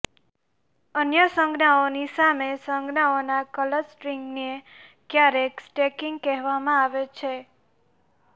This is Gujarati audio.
અન્ય સંજ્ઞાઓની સામે સંજ્ઞાઓના ક્લસ્ટરીંગને ક્યારેક સ્ટેકીંગ કહેવામાં આવે છે